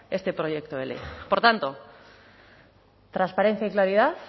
este proyecto de ley por tanto transparencia y claridad